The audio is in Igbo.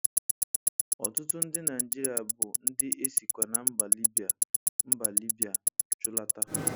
Ọtụtụ ndi Naịjịrịa bụ ndi e sikwa na mba Libya mba Libya chụlata.